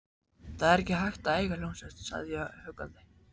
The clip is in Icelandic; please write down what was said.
Það er ekki hægt að eiga hljómsveit, sagði ég huggandi.